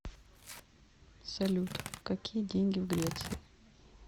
салют какие деньги в греции